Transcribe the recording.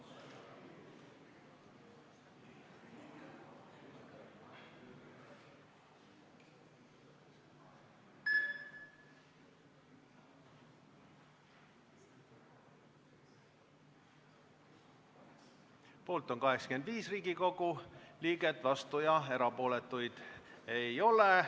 Hääletustulemused Poolt on 85 Riigikogu liiget, vastuolijaid ja erapooletuid ei ole.